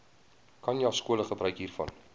khanyaskole gebruik hiervan